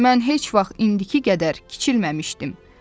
Mən heç vaxt indiki qədər kiçilməmişdim.